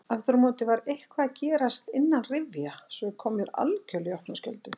Afturámóti var eitthvað að gerast innanrifja sem kom mér algerlega í opna skjöldu.